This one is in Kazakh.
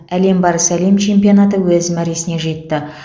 әлем барысы әлем чемпионаты өз мәресіне жетті